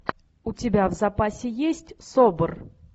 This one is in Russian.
у тебя в запасе есть собр